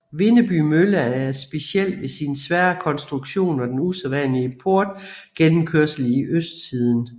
Vindeby Mølle er speciel ved sin svære konstruktion og den usædvanlige portgennemkørsel i østsiden